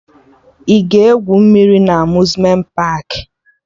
Ị ga-egwu mmiri na Amuzmenti paakị?